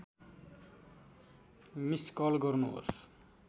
miss call गर्नुहोस्